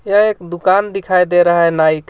यह एक दुकान दिखाई दे रहा है नाई का-